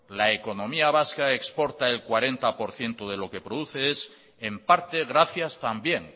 la economía vasca exporta al cuarenta por ciento de lo que produce es en parte gracias también